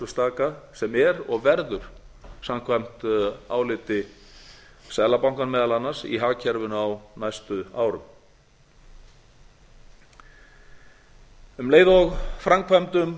framleiðsluslaka sem er og verður samkvæmt áliti seðlabankans meðal annars í hagkerfinu á næstu árum um leið og framkvæmdum